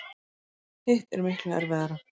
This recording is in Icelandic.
Hitt er miklu erfiðara.